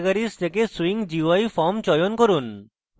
categories থেকে swing gui forms চয়ন করুন